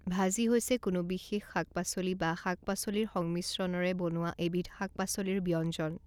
ভাজি হৈছে কোনো বিশেষ শাক পাচলি বা শাক পাচলিৰ সংমিশ্ৰণেৰে বনোৱা এবিধ শাক পাচলিৰ ব্যঞ্জন।